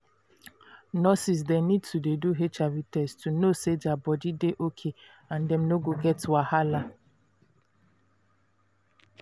nurses dey need to dey do hiv test to know say their body dey okay and dem no go get wahala